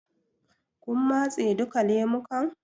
Kin matse duka lemukan?